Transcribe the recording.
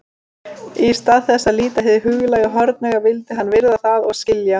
Í stað þess að líta hið huglæga hornauga vildi hann virða það og skilja.